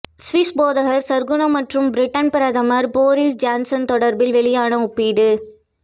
Swiss போதகர் சற்குணம் மற்றும் Britain பிரதமர் போரிஸ் ஜோன்சன் தொடர்பில் வெளியான ஒப்பீடு